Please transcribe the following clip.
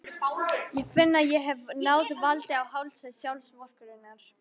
Ég finn að ég hef náð valdi á hálsi sjálfsvorkunnarinnar.